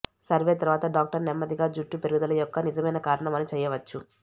survey తరువాత doctor నెమ్మదిగా జుట్టు పెరుగుదల యొక్క నిజమైన కారణం అని చేయవచ్చు